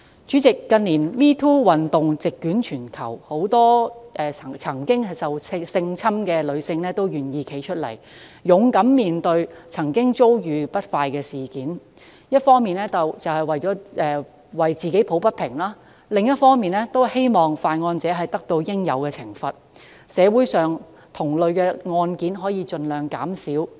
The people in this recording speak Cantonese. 主席，近年 "#MeToo" 運動席捲全球，很多曾遭受性侵的女士均願意挺身而出，勇敢面對過去遭遇的不愉快經歷，一方面為自己抱不平，另一方面則希望犯案者得到應有懲罰，社會上同類案件可以盡量減少。